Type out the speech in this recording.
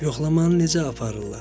Yoxlamanı necə aparırlar?